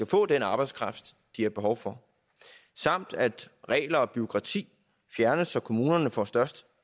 få den arbejdskraft de har behov for samt at regler og bureaukrati fjernes så kommunerne får størst